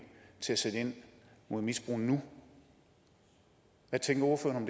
til at sætte ind mod misbrug nu hvad tænker ordføreren